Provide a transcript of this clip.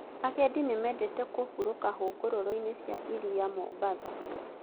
Agendi nĩmendete kũhuurũka hũgũrũrũ-inĩ cia iria Mombatha